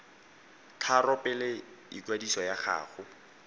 tharo pele ikwadiso ya gago